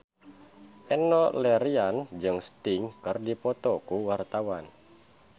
Enno Lerian jeung Sting keur dipoto ku wartawan